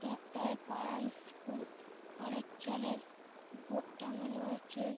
এটা একটায় পাড়ার ইস্কুল খড়ের চালের বোর্ড টাঙ্গানো আছে।